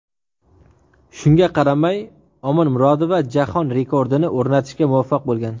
Shunga qaramay, Omonmurodova jahon rekordini o‘rnatishga muvaffaq bo‘lgan.